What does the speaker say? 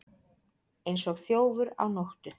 Eins og þjófur á nóttu